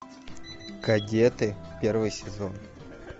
кадеты первый сезон